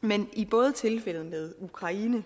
men både i tilfældet med ukraine